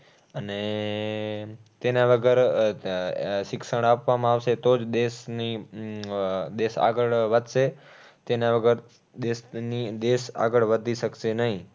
અને તેના અગર આહ આહ શિક્ષણ આપવામાં આવશે તો જ દેશની અમ દેશ આગળ વધશે. તેના વગર દેશની, દેશ આગળ વધી શકશે નહીં